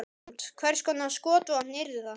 Hrund: Hvers konar skotvopn yrðu það?